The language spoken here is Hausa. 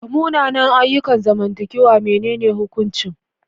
Ga munanan ayyukan zamantakewa, menene hukuncin?